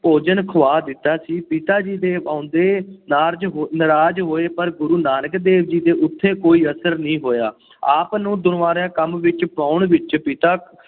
ਭੋਜਨ ਖੁਆ ਦਿੱਤਾ ਸੀ ਪਿਤਾ ਜੀ ਦੇ ਆਉਂਦੇ ਨਾਰਜ਼ ਹੋੲ ਨਾਰਾਜ਼ ਹੋਏ, ਪਰ ਗੁਰੂ ਨਾਨਕ ਦੇਵ ਜੀ ਉੱਤੇ ਕੋਈ ਅਸਰ ਨਹੀਂ ਹੋਇਆ ਆਪ ਨੂੰ ਦੁਨਿਆਵੀ ਕੰਮ ਵਿਚ ਪਾਉਣ ਵਿੱਚ ਪਿਤਾ